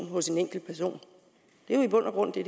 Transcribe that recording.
hos en enkelt person det er jo i bund og grund det